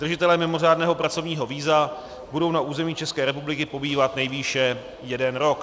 Držitelé mimořádného pracovního víza budou na území České republiky pobývat nejvýše jeden rok.